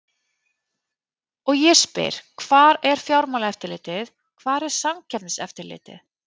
Og ég spyr hvar er Fjármálaeftirlitið, hvar er Samkeppniseftirlitið?